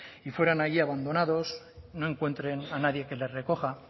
y fueran allí abandonados no encuentren a nadie que les recoja